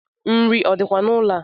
Nri o dikwa n’ụlọ a?